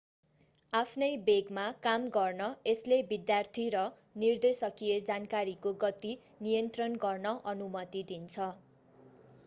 आफ्नै वेगमा काम गर्न यसले विद्यार्थी र निर्देशकीय जानकारीको गति नियन्त्रण गर्न अनुमति दिन्छ